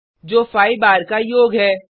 जो 5 बार 5 टाइम्स का योग है